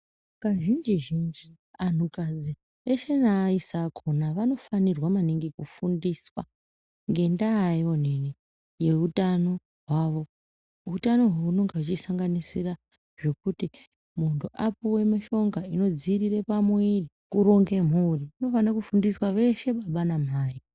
Kazhinji zhinji antu kadzi eshe neaaisa akhona vanofanirwa maningi kufundiswa ngendaa yoonini youtano hwavo. Utano uhu hunenge huchisanganisira zvekuti muntu apuwe mushonga inodziirire pamuiri kuronge mhuri kunofane kufundiswa veshe baba namai.